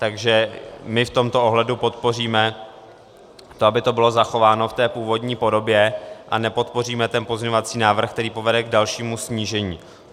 Takže my v tomto ohledu podpoříme to, aby to bylo zachováno v té původní podobě, a nepodpoříme ten pozměňovací návrh, který povede k dalšímu snížení.